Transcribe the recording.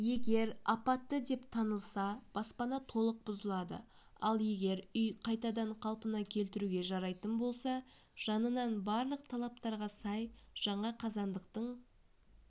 егер апатты деп танылса баспана толық бұзылады ал егер үй қайтадан қалпына келтіруге жарайтын болса жанынан барлық талаптарға сай жаңа қазандықтың